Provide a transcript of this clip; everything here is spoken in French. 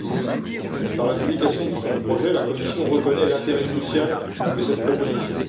2010. Par la publication de son projet, la Commission reconnaît l'intérêt crucial de cette proposition.